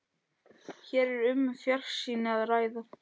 Hér er um fjarsýni að ræða.